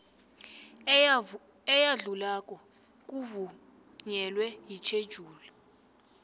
eyadlulako kuvunyelwe yitjhejuli